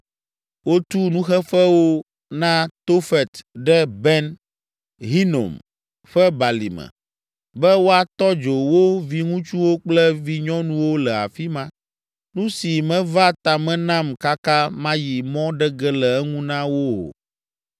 Wotu nuxeƒewo na Tofet ɖe Ben Hinom ƒe Balime, be woatɔ dzo wo viŋutsuwo kple vinyɔnuwo le afi ma, nu si meva tame nam kaka mayi mɔ ɖe ge le eŋu na wo o.’